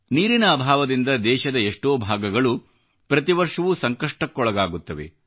ನೀರಿನ ಅಭಾವದಿಂದ ದೇಶದ ಎಷ್ಟೋ ಭಾಗಗಳು ಪ್ರತಿವರ್ಷವೂ ಸಂಕಷ್ಟಕ್ಕೊಳಗಾಗುತ್ತವೆ